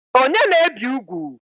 Onye na-ebi ugwu?